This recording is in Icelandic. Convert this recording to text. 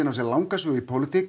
á sér langa sögu í pólitík